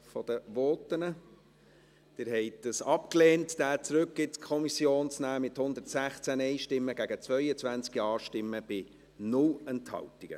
Sie haben es abgelehnt, dies zurück in die Kommission zu nehmen, mit 116 Nein- gegen 22 Ja-Stimmen bei 0 Enthaltungen.